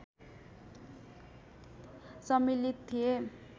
सम्मिलित थिए